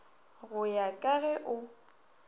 go ya ka ge o